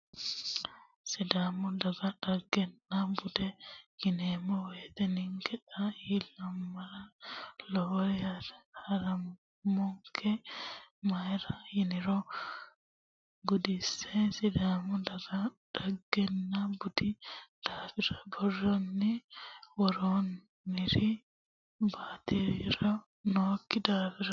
Sidaamu Daga dhagenna bude yineemmo woyte ninke xaa illamara lowori haaroma'nonke mayra yiniro gudinse sidaamu daga dhagenna budi daafira borrotenni woroniri batirinori nookki daafira.